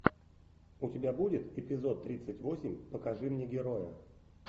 у тебя будет эпизод тридцать восемь покажи мне героя